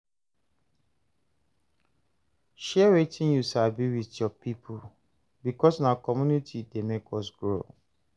Share wetin you sabi with your people, because na community dey make us grow.